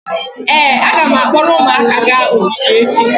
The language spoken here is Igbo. ee, a ga m akpọrọ ụmụaka gaa ogige echi